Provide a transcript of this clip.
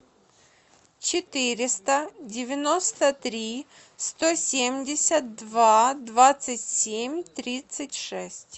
четыреста девяносто три сто семьдесят два двадцать семь тридцать шесть